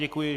Děkuji.